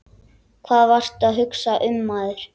Hvað varstu að hugsa maður?